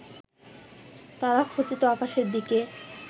তারাখচিত আকাশের দিকে